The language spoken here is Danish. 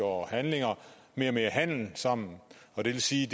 og handlinger mere og mere handel sammen og det vil sige